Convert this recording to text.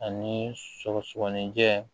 Ani sɔgɔsɔgɔninjɛ